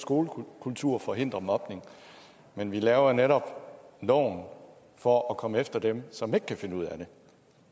skolekultur forhindrer mobning men vi laver netop loven for at komme efter dem som ikke kan finde ud af det